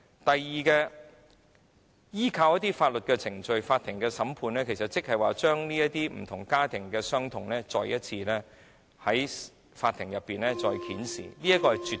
第二，如果訴諸法律程序，審訊過程其實會將家庭所承受的傷痛再次在法庭上揭示出來。